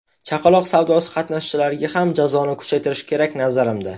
Chaqaloq savdosi qatnashchilariga ham jazoni kuchaytirish kerak, nazarimda.